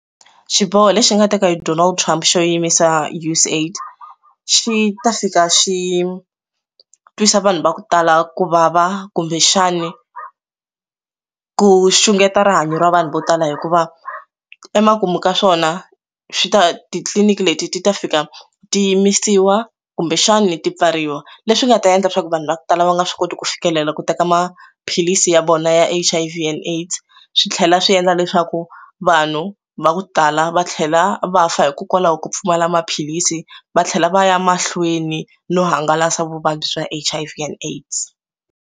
Xiboho lexi nga teka hi Donald Trump xo yimisa U_S AID xi ta fika xi twisa vanhu va ku tala ku vava kumbexani ku xungeta rihanyo ra vanhu vo tala hikuva emakumu ka swona swi ta titliliniki leti ti ta fika ti yimisiwa kumbexani ti pfariwa leswi nga ta endla leswaku vanhu va ku tala va nga swi koti ku fikelela ku teka maphilisi ya vona ya H_I_V and AIDS swi swi tlhela swi endla leswaku vanhu va ku tala va tlhela va fa hikokwalaho ku pfumala maphilisi va tlhela va ya mahlweni no hangalasa vuvabyi bya H_I_V and AIDS.